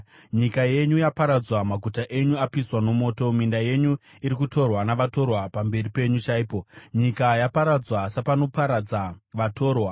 Nyika yenyu yaparadzwa, Maguta enyu apiswa nomoto; minda yenyu iri kutorwa navatorwa pamberi penyu chaipo, nyika yaparadzwa sapanoparadza vatorwa.